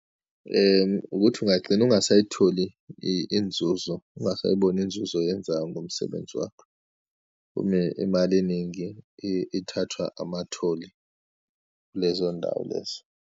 Ukuthi ungagcina ungasayitholi inzuzo, ungasayiboni inzuzo oyenzayo ngomsebenzi wakho umi imali eningi ithathwa amatholi kulezoyindawo lezo.